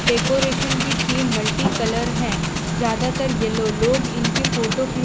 decoration की theme multicolour है ज्यादातर येलो लोग इनकी फोटो खींच--